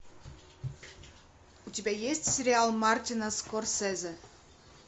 у тебя есть сериал мартина скорсезе